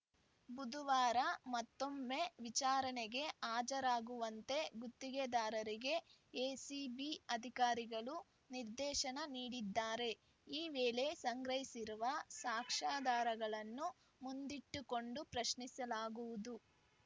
ಬುಧವಾರ ಮತ್ತೊಮ್ಮೆ ವಿಚಾರಣೆಗೆ ಹಾಜರಾಗುವಂತೆ ಗುತ್ತಿಗೆದಾರರಿಗೆ ಎಸಿಬಿ ಅಧಿಕಾರಿಗಳು ನಿರ್ದೇಶನ ನೀಡಿದ್ದಾರೆ ಈ ವೇಳೆ ಸಂಗ್ರಹಿಸಿರುವ ಸಾಕ್ಷ್ಯಾಧಾರಗಳನ್ನು ಮುಂದಿಟ್ಟುಕೊಂಡು ಪ್ರಶ್ನಿಸಲಾಗುವುದು